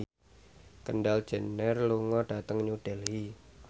Kendall Jenner lunga dhateng New Delhi